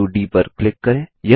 बिंदु डी पर क्लिक करें